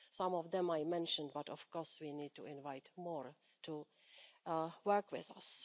Some of them I mentioned, but of course we need to invite more to work with us.